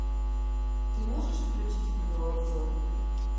ты можешь включить видео обзор